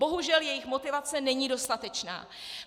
Bohužel, jejich motivace není dostatečná.